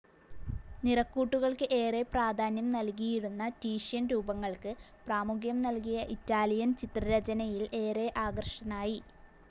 നിറക്കൂട്ടുകൾക്കു ഏറെ പ്രാധാന്യം നൽകിയിരുന്ന റ്റീഷ്യൻ രൂപങ്ങൾക്ക് പ്രാമുഖ്യം നൽകിയ ഇറ്റാലിയൻ ചിത്രരചനയിൽ ഏറെ ആകൃഷ്ടനായി.